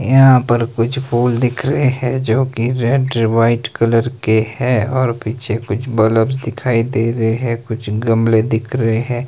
यहां पर कुछ फूल दिख रहे हैं जोकि रेड वाइट कलर के हैं और पीछे कुछ बल्ब्स दिखाई दे रहे हैं कुछ गमले दिख रहे हैं।